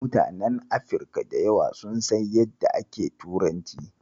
Mutanen Afirka da yawa sun san yadda ake turanci.